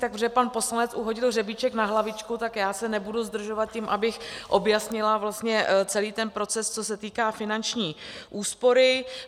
Takže pan poslanec uhodil hřebíček na hlavičku, tak já se nebudu zdržovat tím, abych objasnila vlastně celý ten proces, co se týká finanční úspory.